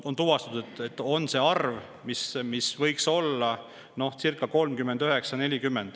On tuvastatud, et eelmisel aastal võis see arv olla 39–40.